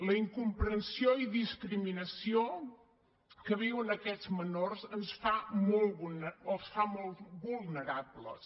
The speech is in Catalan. la incomprensió i discriminació que viuen aquests menors els fa molt vulnerables